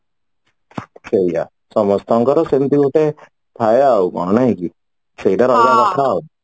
ସେଇଆ ସମସ୍ତଙ୍କର ସେମିତି ଗୋଟେ ଥାଏ ଆଉ କଣ ନାଇକି ସେଇଟା ରହିବା କଥା ଆଉ